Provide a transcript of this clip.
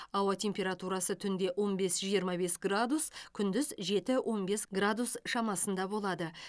ауа температурасы түнде он бес жиырма бес градус күндіз жеті он бес градус шамасында болады